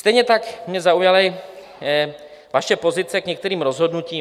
Stejně tak mě zaujaly vaše pozice k některým rozhodnutím.